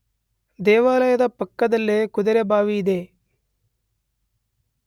ದೇವಾಲಯದ ಪಕ್ಕದಲ್ಲಿಯೇ ಕುದುರೆಬಾವಿ ಇದೆ.